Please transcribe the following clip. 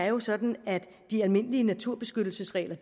jo er sådan at de almindelige naturbeskyttelsesregler